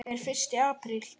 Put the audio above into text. Er fyrsti apríl?